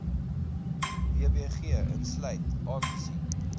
wbg insluit aangesien